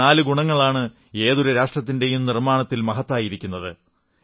ഈ നാലു ഗുണങ്ങളാണ് ഏതൊരു രാഷ്ട്രത്തിന്റെയും നിർമ്മാണത്തിൽ മഹത്തായതായിരിക്കുന്നത്